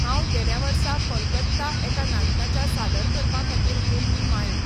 हांव गेल्या वर्सा कोलकत्ता एका नाटकाच्या सादर करपा खातीर गेल्ली मायम